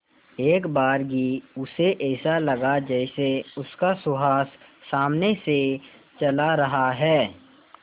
एकबारगी उसे ऐसा लगा जैसे उसका सुहास सामने से चला रहा है